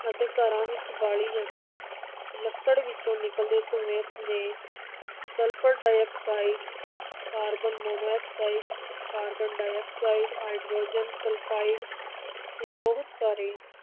ਅਤੇ ਘਰਾਂ ਵਿਚ ਬਾਲੀ ਜਾਂਦੀ ਲੱਕੜ ਵਿਚੋਂ ਨਿਕਲਦੇ ਧੂੰਏਂ ਨੇ sulphur dioxide, carbon monoxide, carbon dioxide, hydrogen sulphide ਤੇ ਬਹੁਤ ਸਾਰੇ